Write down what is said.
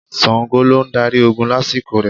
Ṣàngó ló ń darí ogun lásìkò rẹ̀.